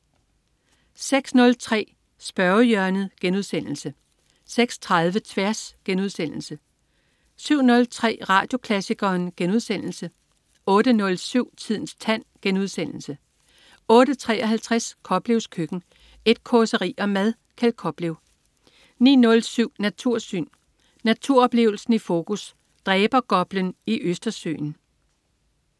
06.03 Spørgehjørnet* 06.30 Tværs* 07.03 Radioklassikeren* 08.07 Tidens tand* 08.53 Koplevs køkken. Et causeri om mad. Kjeld Koplev 09.07 Natursyn. Naturoplevelsen i fokus. Dræbergoplen i Østersøen